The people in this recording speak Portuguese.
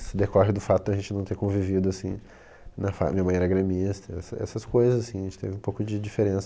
Isso decorre do fato da gente não ter convivido assim, na fa, minha mãe era gremista, essa essas coisas assim, a gente teve um pouco de diferença.